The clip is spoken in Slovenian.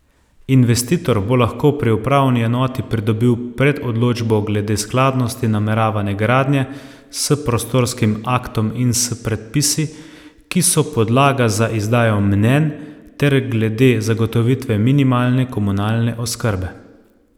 Investitor bo lahko pri upravni enoti pridobil predodločbo glede skladnosti nameravane gradnje s prostorskim aktom in s predpisi, ki so podlaga za izdajo mnenj, ter glede zagotovitve minimalne komunalne oskrbe.